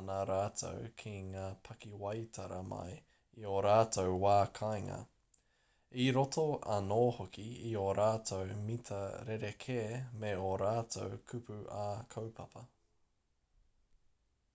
ana rātou ki ngā pakiwaitara mai i ō rātou wā kāinga i roto anō hoki i ō rātou mita rerekē me ō rātou kupu ā-kaupapa